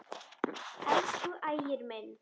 Elsku Ægir minn.